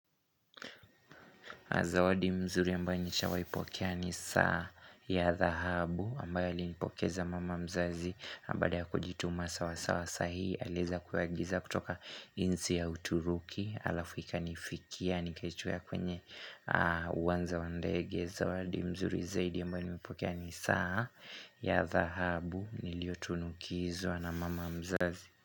Zawadi mzuri ambayo nishawahi pokea ni saa ya dhahabu ambayo alinipokeza mama mzazi na baada ya kujituma sawa sawa saa hii. Aliweza kuagiza kutoka insi au turuki. Alafu ika nifikia, nikaichukua kwenye uwanja wandege. Zawadi mzuri zaidi ambaye nimepokea ni saa ya dhahabu niliyo tunukizwa na mama mzazi.